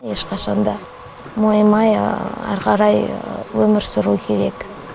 ешқашан да мойымай ары қарай өмір сүру керек